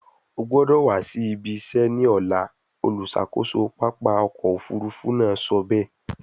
O gbọdọ wa si ibi se ni ọla, oluṣakoso papa ọkọ ofurufu naa sọ be